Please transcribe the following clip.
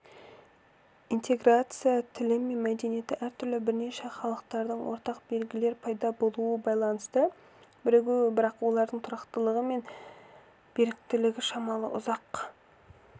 интеграция тілі мен мәдениеті әртүрлі бірнеше халықтардың ортақ белгілер пайда болуына байланысты бірігуі бірақ олардың тұрақтылығы мен беріктілігі шамалы ұзақ